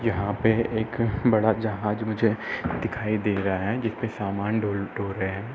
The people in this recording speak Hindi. यहाँ पे एक बड़ा जहाज मुझे दिखाई दे रहा है जिसपे सामान ढो ढो रहे हैं।